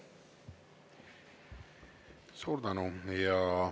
Suur tänu!